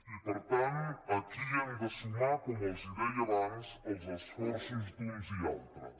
i per tant aquí hem de sumar com els deia abans els esforços d’uns i altres